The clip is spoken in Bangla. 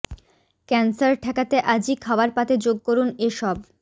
ক্যানসার ঠেকাতে আজই খাওয়ার পাতে যোগ করুন এ সব